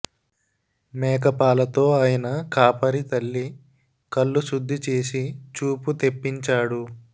మేక పాలతో ఆయన కాపరి తల్లి కళ్ళు శుద్ధి చేసి చూపు తెప్పించాడు